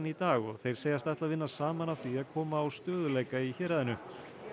í dag og þeir segjast ætla að vinna saman að því að koma á stöðugleika í héraðinu